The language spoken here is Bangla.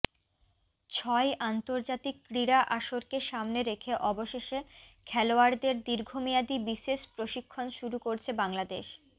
ছয় আন্তর্জাতিক ক্রীড়া আসরকে সামনে রেখে অবশেষে খেলোয়াড়দের দীর্ঘমেয়াদী বিশেষ প্রশিক্ষণ শুরু করছে বাংলাদেশ